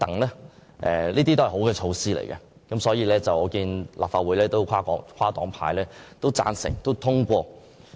這些都是好措施，因而獲立法會跨黨派支持和通過。